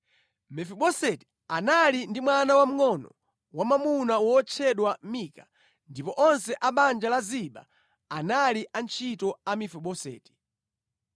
Mefiboseti anali ndi mwana wamngʼono wamwamuna wotchedwa Mika, ndipo onse a banja la Ziba anali antchito a Mefiboseti.